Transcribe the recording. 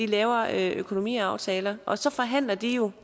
laver økonomiaftaler og så forhandler de jo